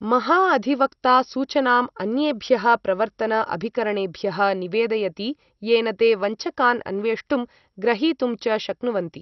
महा अधिवक्ता सूचनाम् अन्येभ्यः प्रवर्तन अभिकरणेभ्यः निवेदयति येन ते वञ्चकान् अन्वेष्टुं ग्रहीतुं च शक्नुवन्ति।